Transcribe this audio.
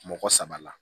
Mɔgɔ saba la